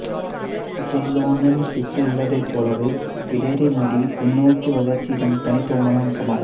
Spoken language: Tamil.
ஜெய்லோனென்சிசு உள்ளதைப் போலவே பிடரி முடி பின்னோக்கிய வளர்ச்சி இதன் தனித்துவமான அம்சமாகும்